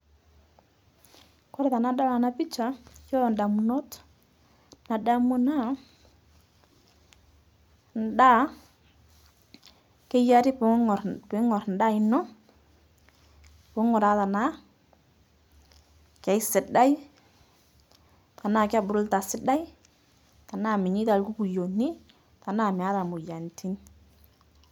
Kore tanadol ana pisha, yuolo ndamunot nadamu naa, ndaa, keyiari puungor piing'or ndaa iino puung'uraa tanaa keisidai, tanaa kebuluta sidai, tanaa meinyeita lkukuyoni, tanaa meata moyianitin.